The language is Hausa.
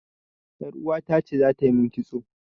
Yar uwata ce za ta yi min kitso.